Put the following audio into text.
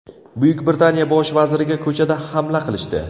Buyuk Britaniya bosh vaziriga ko‘chada hamla qilishdi .